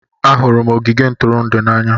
Ahụrụ m ogige ntụrụndụ n'anya.